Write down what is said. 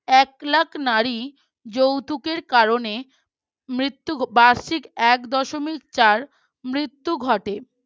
একলাখ নারী যৌতুকের কারণে মৃত্যু বার্ষিক এক দশমিক চার মৃত্যু ঘটে